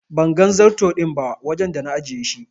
Ban gan zarto din ba wajen da na ajiye shi.